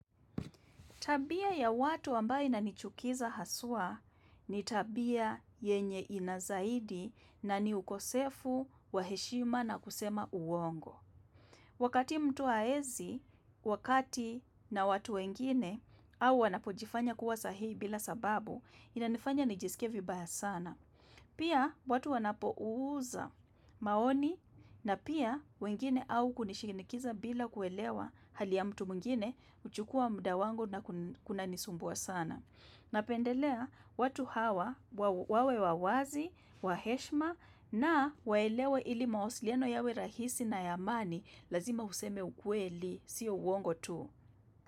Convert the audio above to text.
Tabia ya watu ambao inanichukiza haswa, ni tabia yenye ina zaidi na ni ukosefu wa heshima na kusema uongo. Wakati mtu hawezi, wakati na watu wengine au wanapojifanya kuwa sahihi bila sababu, inanifanya nijisikie vibaya sana. Pia watu wanapouza maoni na pia wengine au kunishinikiza bila kuelewa hali ya mtu mwngine huchukua muda wangu na kunanisumbua sana. Napendelea watu hawa wawe wa wazi, wa heshima na waelewa ili mawasiliano yawe rahisi na ya amani, lazima useme ukweli, sio uongo tu.